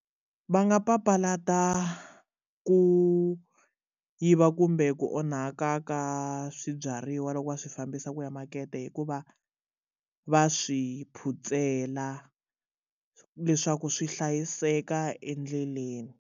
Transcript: Va nga papalata ku yiva kumbe ku onhaka ka swibyariwa loko va swi fambisa ku ya makete hikuva va swi phutsela leswaku swi hlayiseka endleleni.